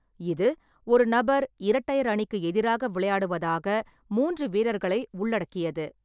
இது ஒரு நபர் இரட்டையர் அணிக்கு எதிராக விளையாடுவதாக மூன்று வீரர்களை உள்ளடக்கியது.